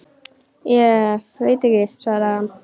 Ég veit ekki, svaraði hann.